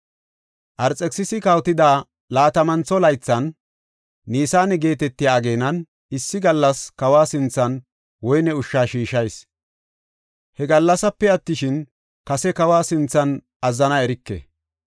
Arxekisisi kawotida laatamantho laythan, Nisaane geetetiya ageenan, issi gallas kawa sinthan woyne ushsha shiishas. He gallasepe attishin, kase kawa sinthan azzana erike.